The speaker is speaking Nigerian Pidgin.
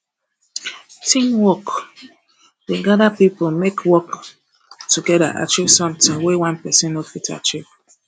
teamwork um dey gather pipo make work togeda achieve sometin wey one pesin no fit achieve